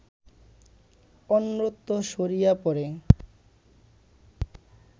অন্যত্র সরিয়া পড়ে